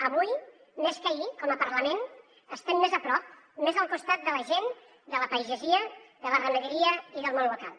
avui més que ahir com a parlament estem més a prop més al costat de la gent de la pagesia de la ramaderia i del món local